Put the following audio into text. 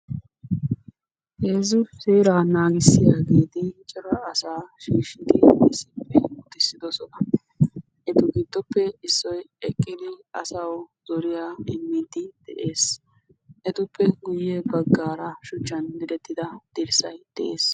heezzu seera naagisiyaagetti seerabaa tamarissidi de"ossona ettagiddoppe isoykka eqidi assawu odiidi dessi.